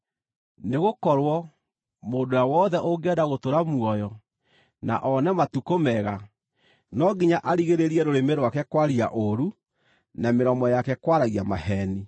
Nĩgũkorwo, “Mũndũ ũrĩa wothe ũngĩenda gũtũũra muoyo na one matukũ mega, no nginya arigĩrĩrie rũrĩmĩ rwake kwaria ũũru, na mĩromo yake kwaragia maheeni.